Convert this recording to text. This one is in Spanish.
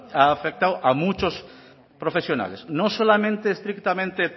ha afectado a muchos profesionales no solamente estrictamente